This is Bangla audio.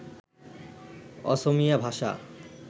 অসমীয়া ভাষা